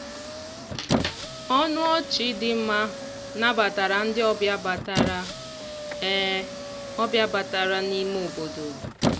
ọnụ ọchị dị mma nabatara ndị obịa batara obịa batara n'ime obodo.